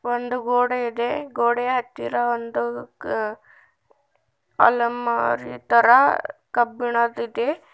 ಒಂದು ಗೋಡೆ ಇದೆ ಗೋಡೆಯ ಹತ್ತಿರ ಒಂದು ಆ ಅಲಮಾರಿ ತರ ಕಬ್ಬಿಣದಿದೆ.